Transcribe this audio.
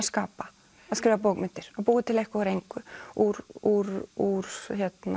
skapa að skrifa bókmenntir og búa til eitthvað úr engu úr úr úr